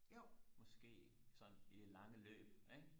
måske sådan i det lange løb ikke